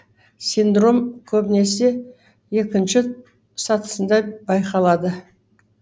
синдром көбінесе екінші сатысында байқалады